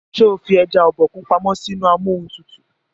ṣe o fí eja Obokun pàmò sí inú Amóhuntutù?